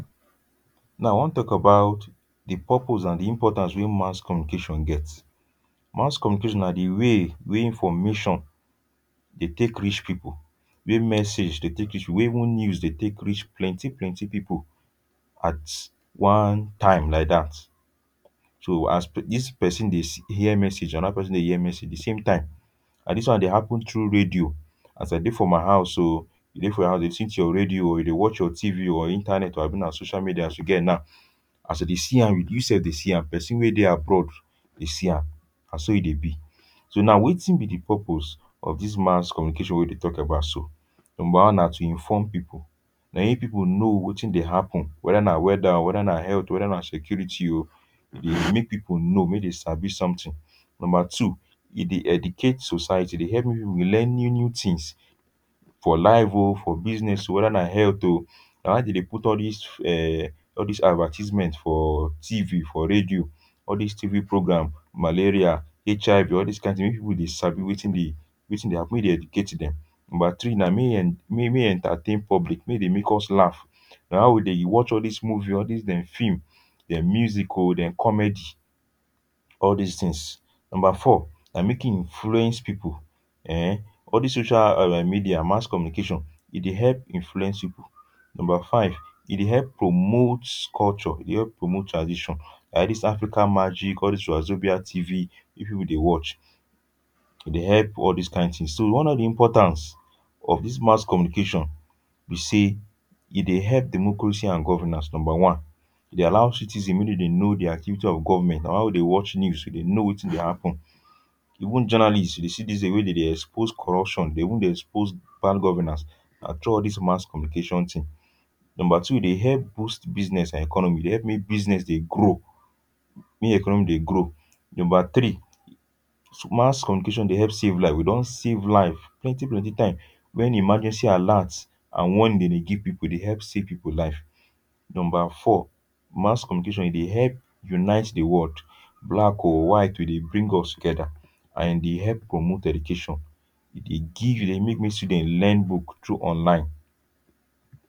Now I wan talk about the purpose and di importance wey mass communication get. Mass communication na di way wey information dey take reach people, wey message dey take reach people, wey even news dey take reach plenty plenty people at one time like that. So, as d dis pesin dey hear message, another person dey hear message di same time. And dis one dey happen through radio. As I dey for my house o, you dey for your house dey lis ten to your radio, or you dey watch your T V, or internet, abi na social media as you get now. As I dey see am, you sef dey see am, pesin wey dey abroad dey see am. Na so e dey be. So now wetin be di purpose of dis mass communication wey dey talk about so? Number one, na to inform people. Na im people know wetin dey happen. Whether na weather, whether na health, whether na security o, e dey make people know, may dem sabi something. Number two, e dey educate society. E dey help may people dey learn new new tins — for life o, for business o, whether na health o. Na why dem dey put all this um, all this advertisements for T V, for radio. All this TV program — malaria, H I V, all this kain tin wey people dey sabi wetin dey wetin dey happen, make dem educate dem. Number three, na may en may entertain public; make dey make us laugh. Na how we dey watch all this movie, all this dem film, dem music o, dem comedy, all this things. Number four, na make e influence people, eh, all this social media, mass communication, e dey help influence people. Number five, e dey help promote culture, e dey help promote tradition. like dis African Magic, all these Wazobia T V, people dey watch. E dey help all this kain things. So, one of di importance of dis mass communication be say e dey help democracy and governance, number one. E dey allow citizen may dem dey know di activity of government. On how dem watch news, dem dey know wetin dey happen. Even journalists, you dey see this day wey dem dey expose corruption, dem even dey expose bad governance. Na through all these mass communication tin. Number two, e dey help boost business economy, e dey help may business dey grow make economy dey grow. Number three, mass communication dey help save life. We don save life plenty plenty time when emergency alert and when dey dey give people, e dey help save people life. Number four, mass communication e dey help unite do world — black o, white o, e dey bring us together; and, e dey help promote education. E dey give, e dey make may student learn book through online.